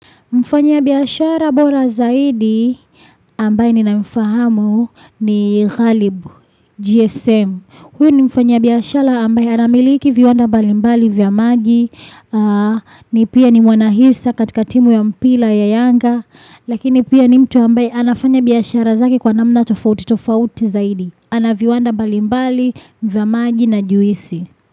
Mfanya biashara bora zaidi ambaye ninamfahamu ni Ghalib, GSM. Huyu ni mfanyibiashara ambaye anamiliki viwanda mbali mbali vya maji, ni pia ni mwanahisa katika timu ya mpira ya yanga. Lakini pia ni mtu ambaye anafanya biashara zake kwa namna tofauti tofauti zaidi. Ana viwanda mbalimbali vya maji na juisi.